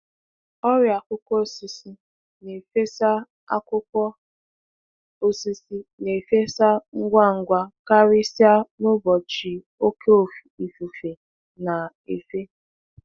Ọrịa akwụkwọ osisi na-efesa akwụkwọ osisi na-efesa ngwa ngwa karịsịa n'ụbọchị oke ifufe na-efe.